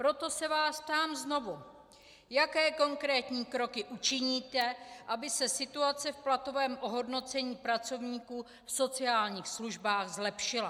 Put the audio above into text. Proto se vás ptám znovu, jaké konkrétní kroky učiníte, aby se situace v platovém ohodnocení pracovníků v sociálních službách zlepšila.